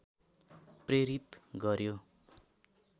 प्रेरित गर्‍यो